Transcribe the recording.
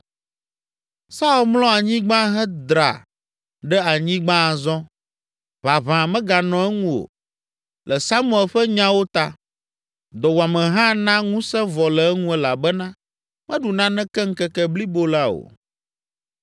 Saul mlɔ anyigba hedra ɖe anyigba azɔ, ʋaʋã meganɔ eŋu o, le Samuel ƒe nyawo ta. Dɔwuame hã na ŋusẽ vɔ le eŋu elabena meɖu naneke ŋkeke blibo la o.